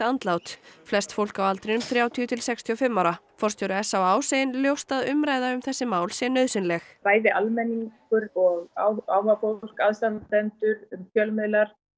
andlát flest fólk á aldrinum þrjátíu til sextíu og fimm ára forstjóri s á á segir ljóst að umræða um þessi mál sé nauðsynleg bæði almenningur og áhugafólk aðstandendur fjölmiðlar